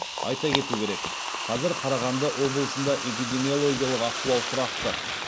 айта кету керек қазір қарағанды облысында эпидемиологиялық ахуал тұрақты